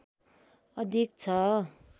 अधिक छ